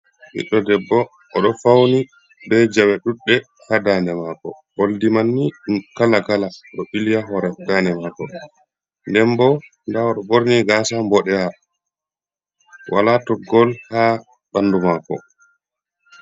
Ɓiɗɗo debbo oɗo fauni be jawe ɗudɗɗe ha dande mako oldi manni ɗuɗ kala kala ɗo ɓili ba hore dande mako nden bo nda odo borni gasa boɗewa wala toggol ha banndu mako.